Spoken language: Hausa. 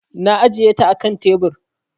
Na ajiye ta a kan tebir.